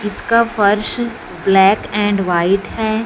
इसका फर्श black and white है।